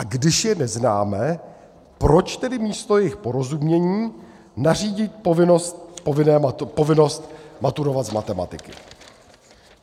A když je neznáme, proč tedy místo jejich porozumění nařídit povinnost maturovat z matematiky?